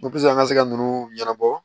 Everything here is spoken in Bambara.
an ka se ka ninnu ɲɛnabɔ